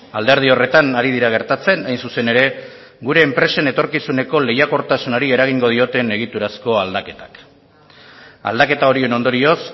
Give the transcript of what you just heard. alderdi horretan ari dira gertatzen hain zuzen ere gure enpresen etorkizuneko lehiakortasunari eragingo dioten egiturazko aldaketak aldaketa horien ondorioz